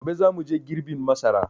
Gobe za muje girbin masara